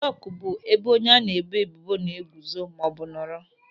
Dọk bụ ebe onye a na-eboebubo na-eguzo maọbụ nọrọ.